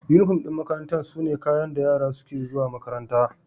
Unifom ɗin makaranta sune kayan da yara suke zuwa makaranta.